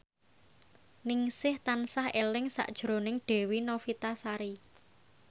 Ningsih tansah eling sakjroning Dewi Novitasari